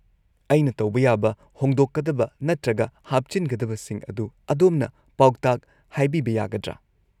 -ꯑꯩꯅ ꯇꯧꯕ ꯌꯥꯕ ꯍꯣꯡꯗꯣꯛꯀꯗꯕ ꯅꯠꯇ꯭ꯔꯒ ꯍꯥꯞꯆꯤꯟꯒꯗꯕꯁꯤꯡ ꯑꯗꯨ ꯑꯗꯣꯝꯅ ꯄꯥꯎꯇꯥꯛ ꯍꯥꯏꯕꯤꯕ ꯌꯥꯒꯗ꯭ꯔꯥ?